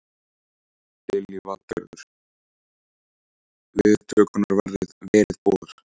Lillý Valgerður: Viðtökurnar verið góðar?